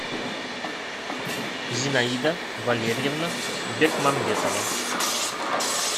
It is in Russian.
зинаида валерьевна бекмамбетова